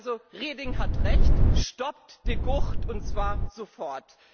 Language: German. Also Reding hat Recht Stoppt De Gucht und zwar sofort!